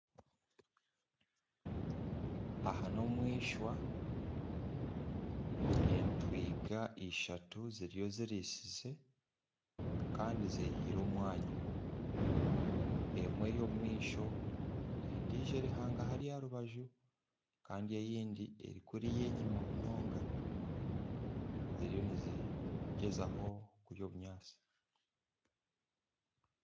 Aha nomwishwa entwiga ishatu ziriyo ziritsize Kandi zehaire omwanya emwe eri omumaisho endiijo eri hangahari aharubaju Kandi eyindi eri kuriya enyuma munonga ziriyo nizigyezaho kurya obunyatsi